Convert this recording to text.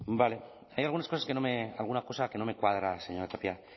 vale hay algunas cosas que no me alguna cosa que no me cuadra señora tapia